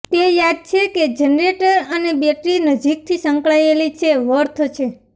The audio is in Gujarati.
તે યાદ છે કે જનરેટર અને બેટરી નજીકથી સંકળાયેલી છે વર્થ છે